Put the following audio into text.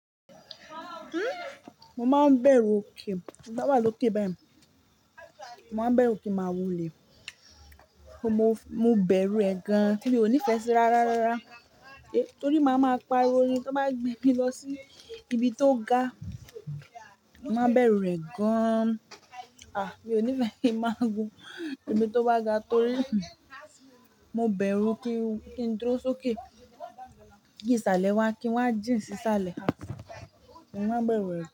Mo máa ń bẹ̀rù òkè, ti bá wà lókè báyìí, mo máa n bẹ̀rù kí ń máa wólẹ̀. Mo bẹ̀rù ẹ̀ gan, mí ò ní fẹ́ síra rárárárá. Torí máa ma pariwo ní kí wọ́n gbé mi lọ sí ibi tó ga. Mo máa n bẹ̀rù rẹ̀ gan. Mi ò ní fẹ́ kí ń máa gun ibi tó wà ga torí mo bẹ̀rù kí n dúró sókè. Kí ìsàlẹ̀ wá, kí wọ́n jí sì sàlẹ̀. Mo máa n bẹ̀rù rẹ̀ gan.